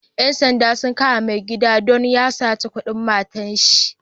Ƴan sanda sun kama mai gidan don ya sata kudin matanshi.